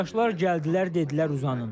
Əməkdaşlar gəldilər, dedilər uzanın.